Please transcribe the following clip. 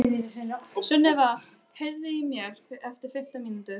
Sunniva, heyrðu í mér eftir fimmtán mínútur.